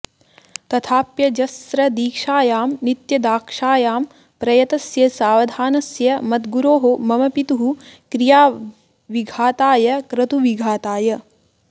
तथाप्यजस्रदीक्षायां नित्यदाक्षायां प्रयतस्य सावधानस्य मद्गुरोः मम पितुः क्रियाविघाताय क्रतुविघाताय